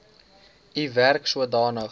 u werk sodanig